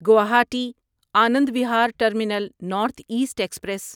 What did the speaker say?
Guwahati Anand Vihar terminal north east express